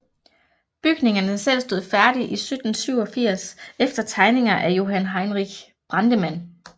Bygningerne selv stod færdige i 1787 efter tegninger af Johan Henrich Brandemann